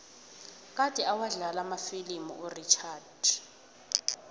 kade awadlala amafilimu urichard